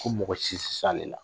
Ko mɔgɔ si tɛ se ale la